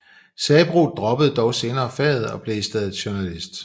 Sabroe droppede dog senere faget og blev i stedet journalist